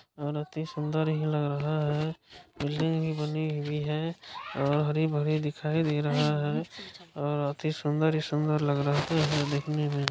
और अति ही सुंदर लग रहा है| बिल्डिग भी बनी हुई है और हरी भरी दिखाई दे रहा है और अति सुन्दर ही सुन्दर लग रहा है देखने में।